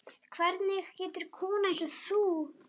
Hvernig getur kona eins og þú dáið?